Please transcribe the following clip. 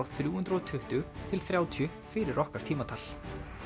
þrjú hundruð og tuttugu til þrjátíu fyrir okkar tímatal